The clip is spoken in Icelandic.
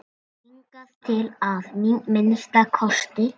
Hingað til að minnsta kosti.